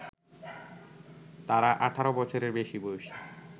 তারা ১৮ বছরের বেশি বয়সী